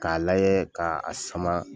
K'a lajɛ ka a sama